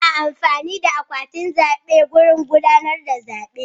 Ana amfani da akwatin zaɓe wajen gudanar da zaɓe.